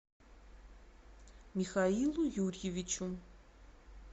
михаилу юрьевичу